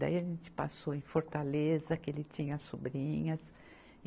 Daí a gente passou em Fortaleza, que ele tinha sobrinhas.